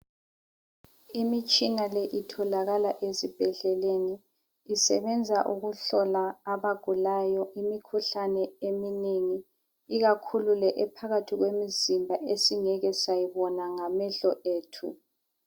Imitshina le itholakala esibhedleleni isebenza ukuhlola abagulayo imikhuhlane eminengi ikakhulu le ephakathi kwemizimba esingeke sayibona ngamehlo ethu.